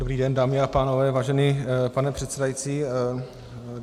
Dobrý den, dámy a pánové, vážený pane předsedající.